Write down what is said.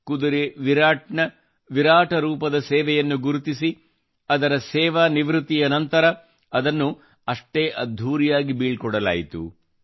ಕುದುರೆ ವಿರಾಟ್ ನ ವಿರಾಟ ರೂಪದ ಸೇವೆಯನ್ನು ಗುರುತಿಸಿ ಅದರ ಸೇವಾ ನಿವೃತ್ತಿಯ ನಂತರ ಅದನ್ನು ಅಷ್ಟೇ ಅದ್ಧೂರಿಯಾಗಿ ಬೀಳ್ಕೊಡಲಾಯಿತು